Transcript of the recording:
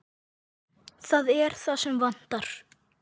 Það er það sem vantar.